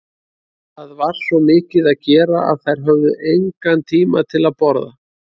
Það var svo mikið að gera að þær höfðu engan tíma til að borða.